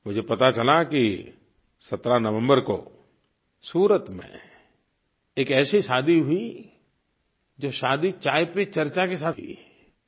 मुझे पता चला कि 17 नवम्बर को सूरत में एक ऐसी शादी हुई जो शादी चाय पर चर्चा के साथ हुई